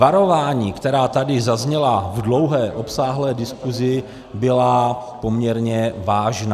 Varování, která tady zazněla v dlouhé, obsáhlé diskusi, byla poměrně vážná.